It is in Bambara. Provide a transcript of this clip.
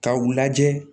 K'a u lajɛ